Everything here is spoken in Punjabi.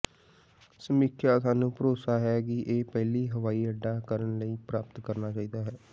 ਸਮੀਖਿਆ ਸਾਨੂੰ ਭਰੋਸਾ ਹੈ ਕਿ ਇਹ ਪਹਿਲੀ ਹਵਾਈਅੱਡਾ ਕਰਨ ਲਈ ਪ੍ਰਾਪਤ ਕਰਨਾ ਚਾਹੀਦਾ ਹੈ